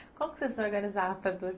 Como você se organizava para dor?